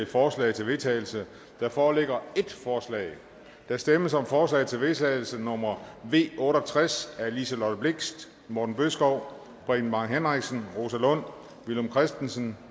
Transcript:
forslag til vedtagelse der foreligger ét forslag der stemmes om forslag til vedtagelse nummer v otte og tres af liselott blixt morten bødskov preben bang henriksen rosa lund villum christensen